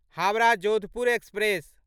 Howrah Jodhpur express